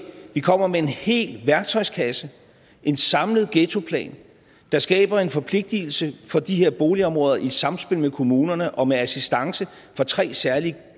vi kommer med en hel værktøjskasse en samlet ghettoplan der skaber en forpligtelse for de her boligområder i samspil med kommunerne og med assistance fra tre særlige